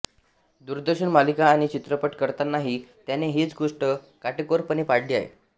दूरदर्शन मालिका आणि चित्रपट करतानाही त्याने हीच गोष्ट काटेकोरपणे पाळली आहे